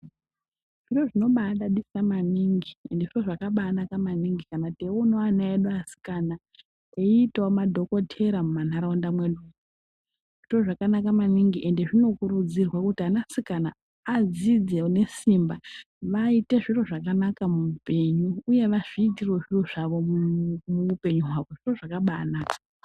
Zviro zvinobaadadisa maningi ende zviro zvakabaanaka maningi kana teionawo ana edu asikana eiitawo madhokotera mumantaraunda mwedu, zviro zvakanaka maningi, ende zvinokurudzirwa kuti anasikana adzidze nesimba vaite zviro zvakanaka muupenyu uye azviitire zviro zvawo muupenyu hwavo, zviro zvakabaanaka.